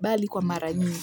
bali kwa mara nyingi.